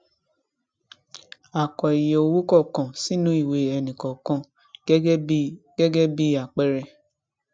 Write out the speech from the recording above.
a kọ iye owó kọọkan sínú ìwé ẹnikọọkan gẹgẹ bí gẹgẹ bí àpẹẹrẹ